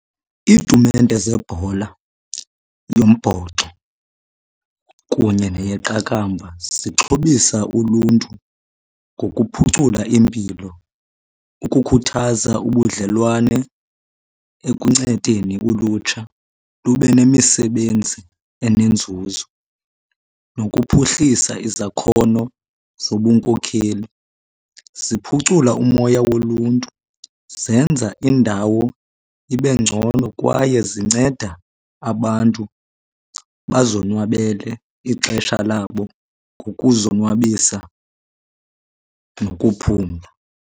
Iitumente zebhola yombhoxo kunye neyeqakamba zixhobisa uluntu ngokuphucula impilo, ukukhuthaza ubudlelwane ekuncedeni ulutsha lube nemisebenzi enenzuzo nokuphuhlisa izakhono zobunkokheli. Ziphucula umoya woluntu, zenza indawo ibe ngcono kwaye zinceda abantu bazonwabele ixesha labo ngokuzonwabisa nokuphumla.